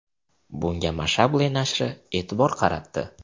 Bunga Mashable nashri e’tibor qaratdi .